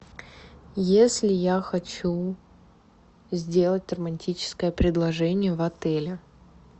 если я хочу сделать романтическое предложение в отеле